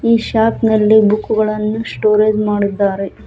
ಈ ಶಾಪ್ ನಲ್ಲಿ ಬುಕ್ ಗಳನ್ನು ಸ್ಟೋರೇಜ್ ಮಾಡಿದ್ದಾರೆ.